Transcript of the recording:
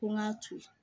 Ko n ka to yen